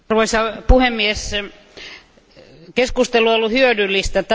Arvoisa puhemies, keskustelu on ollut hyödyllistä.